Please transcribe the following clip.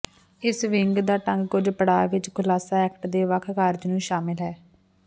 ਇਸ ਵਿੰਗ ਦਾ ਢੰਗ ਕੁਝ ਪੜਾਅ ਵਿਚ ਖੁਲਾਸਾ ਐਕਟ ਦੇ ਵੱਖ ਕਾਰਜ ਨੂੰ ਸ਼ਾਮਲ ਹੈ